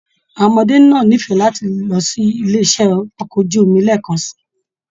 Àwọn ọmọdé náà n'ifẹ láti lọ sí ilé iṣẹ okọ̀ ojú omi lẹẹkan sí.